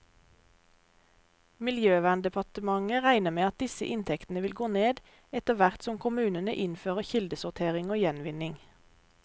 Miljøverndepartementet regner med at disse inntektene vil gå ned, etterhvert som kommunene innfører kildesortering og gjenvinning.